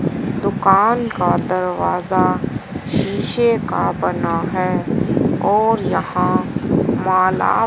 दुकान का दरवाजा शीशे का बना है और यहां माला--